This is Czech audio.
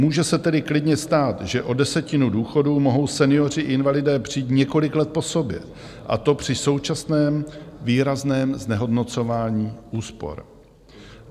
Může se tedy klidně stát, že o desetinu důchodů mohou senioři, invalidé, přijít několik let po sobě, a to při současném výrazném znehodnocování úspor.